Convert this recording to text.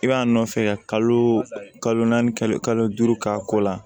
I b'a nɔfɛ ka kalo naani kalo duuru k'a ko la